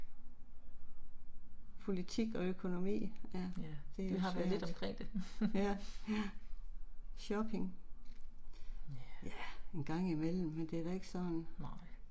Politik og økonomi. Ja, det er svært, ja. Shopping. Ja, en gang imellem, men det er da ikke sådan